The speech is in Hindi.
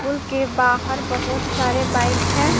कूल के बाहर बहुत सारे बाईक है।